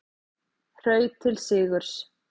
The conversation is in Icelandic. Hraut til sigurs